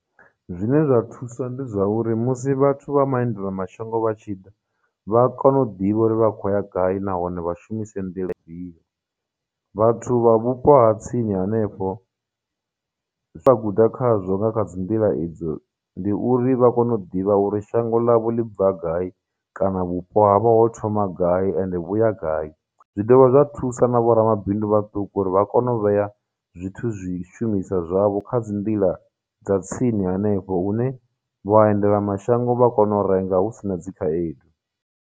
Zwine zwa thusa ndi zwa uri musi vhathu vha maendela mashango vha tshi ḓa, vha kone u ḓivha uri vha khou ya gai nahone vha shumise nḓila ifhio. Vhathu vha vhupo ha tsini hanefho zwa guda khazwo nga kha dzi nḓila idzo ndi uri vha kone u ḓivha uri shango ḽavho ḽi bva gai kana vhupo havho ho thoma gai ende vhuya gai. Zwi dovha zwa thusa na vhoramabindu vhaṱuku uri vha kone u vhea zwithu zwishumiswa zwavho kha dzi nḓila dza tsini hanefho hune vhaendelamashango vha kone u renga hu si na dzikhaedu.